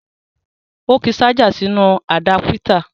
Ó ki ṣájà sínú àdápítà